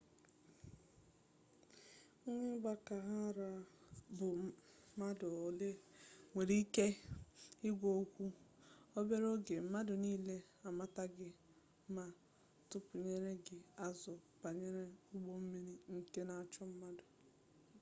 nwaa igwa ka ha ra bu madu ole inwere ike igwa okwu obere oge mmadu nile amata gi ma tupenyere gi azu banyere ugbo-mmiri nke n'acho mmadu